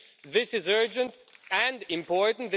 This is urgent and important.